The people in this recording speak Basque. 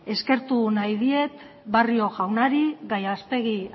eskertu nahi diet barrio jaunari gallastegui